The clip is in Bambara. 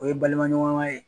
O ye balima ɲɔgɔn ma ye.